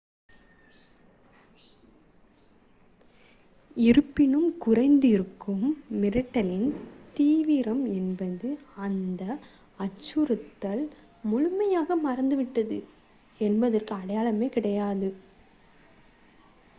இருப்பினும் குறைந்திருக்கும் மிரட்டலின் தீவிரம் என்பது அந்த அச்சுறுத்தல் முழுமையாக மறைந்துவிட்டது என்பதற்கான அடையாளம் கிடையாது